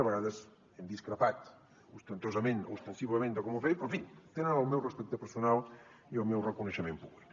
a vegades hem discrepat ostentosament o ostensiblement de com ho feien però en fi tenen el meu respecte personal i el meu reconeixement públic